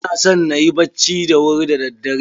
Ina son na yi bacci da wuri da daddare.